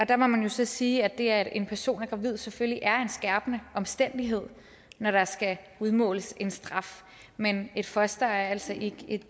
der må man så sige at det at en person er gravid selvfølgelig er en skærpende omstændighed når der skal udmåles en straf men et foster er altså ikke